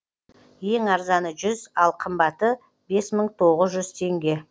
ең арзаны жүз ал қымбаты бес мың тоғыз жүз теңге